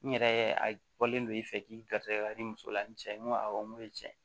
N yɛrɛ a bɔlen don i fɛ k'i garisɛgɛ i muso la n' cɛ ye n ko awɔ n ko ye tiɲɛ ye